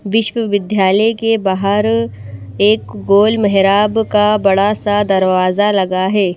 विश्वविद्यालय के बाहर एक गोल मेहराब का बड़ा सा दरवाजा लगा है।